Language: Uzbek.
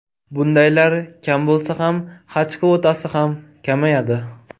Bundaylar kam bo‘lsa, Haj kvotasi ham kamayadi.